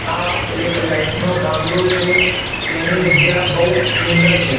તા એક લાઈટનો થાંભલો છે તેની જગ્યા બહુ સુંદર છે.